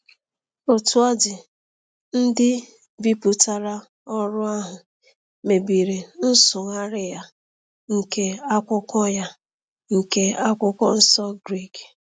Otú ọ dị, ndị bipụtara ọrụ ahụ mebiri nsụgharị ya nke Akwụkwọ ya nke Akwụkwọ Nsọ Grik.